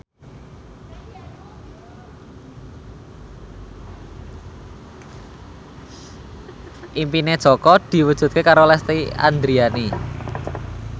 impine Jaka diwujudke karo Lesti Andryani